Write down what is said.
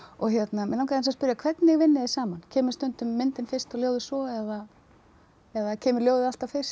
mig langaði aðeins að spyrja hvernig vinnið þið saman kemur stundum myndin fyrst og ljóðið svo eða eða kemur ljóðið alltaf fyrst